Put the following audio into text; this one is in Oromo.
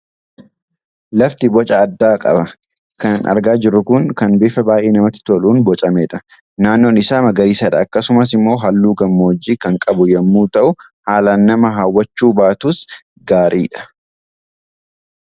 Lafti boca addaa qaba. Kan argaa jirru kun kan bifa baay'ee namatti toluun bocamedha. Naannoon isaa magariisadha. Akkasumas immoo halluu gammoojjii kan qabu yommuu ta'u haalaan nama hawwachuu baatus gaaridha.